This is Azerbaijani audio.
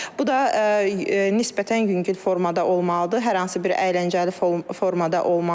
Bu da nisbətən yüngül formada olmalıdır, hər hansı bir əyləncəli formada olmalıdır.